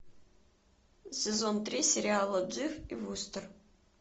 сезон три сериала дживс и вустер